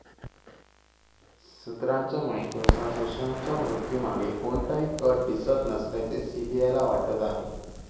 सुत्रांच्या माहितीनुसार, सुशांतच्या मृत्यूमागे कोणताही कट दिसत नसल्याचे सीबीआयला वाटत आहे.